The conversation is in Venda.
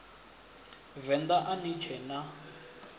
venḓa a ni tshee na